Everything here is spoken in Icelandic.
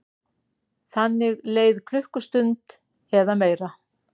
Þannig leið klukkustund eða meira.